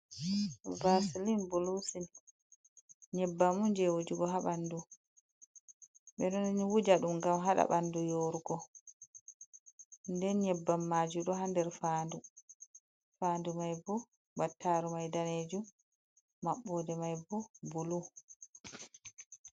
Basilin bulu sil, nyebbam jey wujugo haa ɓanndu, ɓe ɗon wuja ɗum ngam haɗa ɓanndu yoorugo. Nden nyebbam maajum ɗo haa nder faandu may, bo battaru may daneejum maɓɓoode may bo bulu.